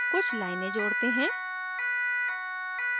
कुछ लाइनें जोड़ते हैं